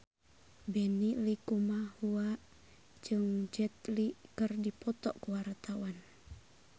Benny Likumahua jeung Jet Li keur dipoto ku wartawan